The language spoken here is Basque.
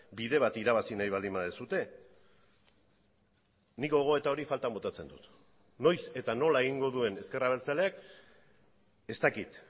bide bat irabazi nahi baldin baduzue nik gogoeta hori faltan botatzen dut noiz eta nola egingo duen ezker abertzaleak ez dakit